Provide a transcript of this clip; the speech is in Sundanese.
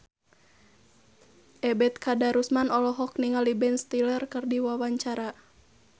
Ebet Kadarusman olohok ningali Ben Stiller keur diwawancara